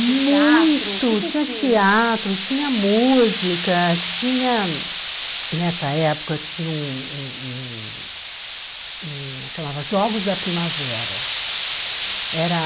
Muito, tinha teatro, tinha música, tinha... Nessa época tinha um um um um... Chamava Jogos da Primavera. Era